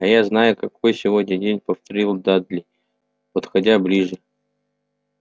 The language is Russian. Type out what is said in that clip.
а я знаю какой сегодня день повторил дадли подходя ближе